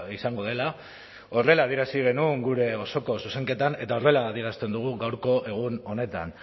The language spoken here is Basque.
izango dela horrela adierazi genuen gure osoko zuzenketan eta horrela adierazten dugu gaurko egun honetan